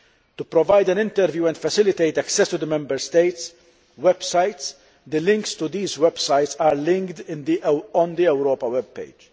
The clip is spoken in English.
To provide an overview and facilitate access to the Member States' websites, the links to these websites are linked on the Europa web page.